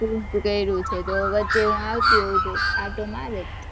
તો વચ્ચે હું આવતી હોઉ તો આંટો મારત